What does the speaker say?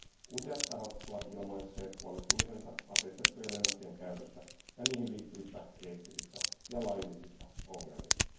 Useat tahot ovat ilmaisseet huolestumisensa aseistettujen lennokkien käytöstä ja niihin liittyvistä eettisistä ja laillisista ongelmista.